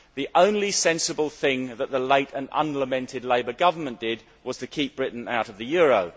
The only sensible thing that the late and unlamented Labour government did was to keep Britain out of the euro.